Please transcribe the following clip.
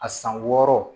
A san wɔɔrɔ